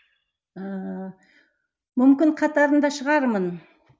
ыыы мүмкін қатарында шығармын